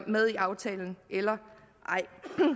med i aftalen eller ej